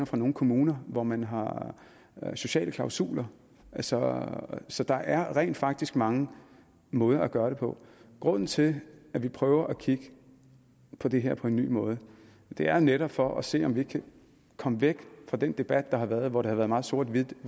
fra nogle kommuner hvor man har sociale klausuler så så der er rent faktisk mange måder at gøre det på grunden til at vi prøver at kigge på det her på en ny måde er netop for at se om vi ikke kan komme væk fra den debat der har været hvor det har været meget sort og hvidt